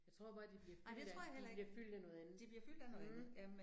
Jeg tror bare de bliver fyldt af de bliver fyldt af noget andet, mh